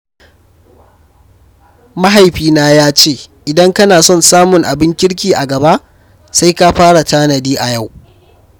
Mahaifina ya ce "idan kana son samun abin kirki a gaba, sai ka fara tanadi a yau."